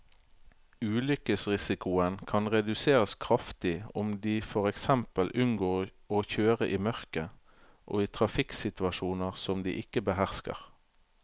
Ulykkesrisikoen kan reduseres kraftig om de for eksempel unngår å kjøre i mørket og i trafikksituasjoner som de ikke behersker.